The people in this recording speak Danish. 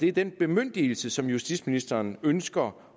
er den bemyndigelse som justitsministeren ønsker